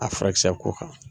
A furakisɛ ko kan.